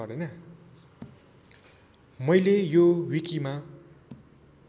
मैले यो विकिमा